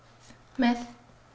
með